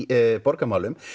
borgarmálum